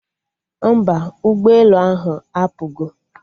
Mba, ụgbọ elu ahụ apụgo